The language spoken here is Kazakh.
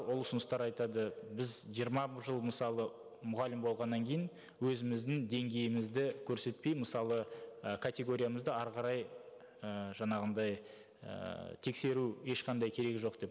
ол ұсыныстар айтады біз жиырма жыл мысалы мұғалім болғаннан кейін өзіміздің деңгейімізді көрсетпей мысалы і категориямызды әрі қарай ііі жаңағындай ііі тексеру ешқандай керегі жоқ деп